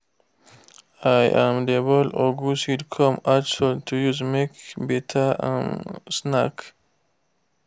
i um dey boil ugu seed come add salt to use make better um snack